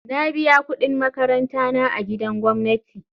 Na biya kudin makaranta na a gidan gwamnati.